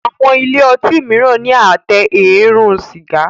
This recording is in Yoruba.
Àwọn ilé otí míràn ní Àtẹ eérún sìgá.